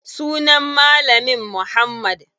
Sunan malamin muhammad.